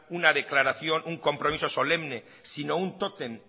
una declaración un compromiso solemne sino un tótem